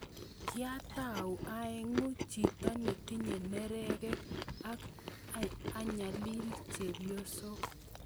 "kiatau aegu chito netinye nerekek ak anyalil chepyosok,"